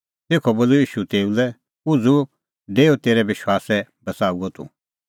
तेखअ बोलअ ईशू तेऊ लै उझ़ू डेऊ तेरै विश्वासै बच़ाऊअ तूह